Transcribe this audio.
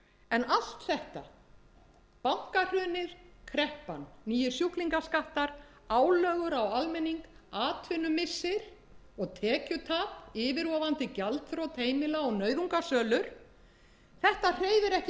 en allt þetta bankahrunið kreppan nýir sjúklingaskattar álögur á almenning atvinnumissir og tekjutap yfirvofandi gjaldþrot heimila og nauðungarsölur þetta hreyfir ekki við hæstvirtur iðnaðarráðherra hann veit ekki af